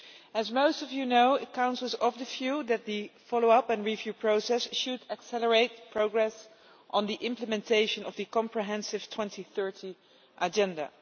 As most of you know, the Council is of the view that the follow up and review process should accelerate progress on implementation of the comprehensive 2030 Agenda.